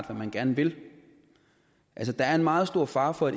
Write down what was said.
hvad man gerne vil altså der er en meget stor fare for at